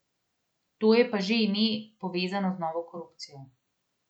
To je pa že ime, povezano z novo korupcijo.